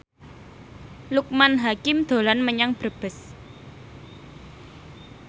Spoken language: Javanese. Loekman Hakim dolan menyang Brebes